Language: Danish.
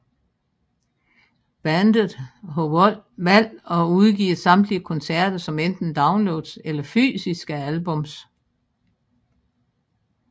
Bandet har valgt at udgive samtlige koncerter som enten downloads eller fysiske albums